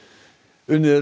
unnið er